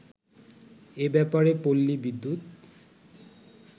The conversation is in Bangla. এব্যাপারে পল্লী বিদ্যুৎ